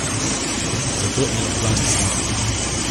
Zato eno plast snamem.